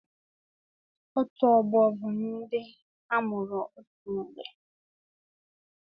Otù ọgbọ bụ ndị amụrụ otù mgbe